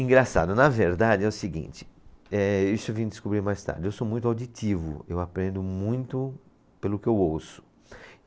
Engraçado, na verdade é o seguinte, eh, isso eu vim descobrir mais tarde, eu sou muito auditivo, eu aprendo muito pelo que eu ouço.